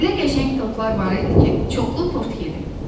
Elə qəşəng tortlar var idi ki, çoxlu tort yedim.